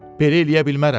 belə eləyə bilmərəm.